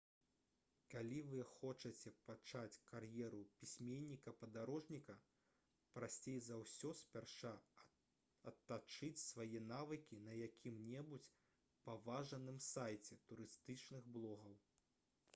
калі вы хочаце пачаць кар'еру пісьменніка-падарожніка прасцей за ўсё спярша адтачыць свае навыкі на якім-небудзь паважаным сайце турыстычных блогаў